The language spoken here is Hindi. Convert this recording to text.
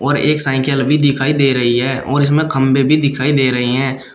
और एक साइकिल भी दिखाई दे रही है और इसमें खंभे भी दिखाई दे रहे हैं।